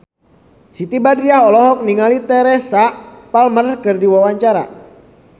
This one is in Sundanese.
Siti Badriah olohok ningali Teresa Palmer keur diwawancara